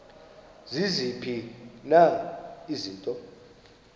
ziziphi na izinto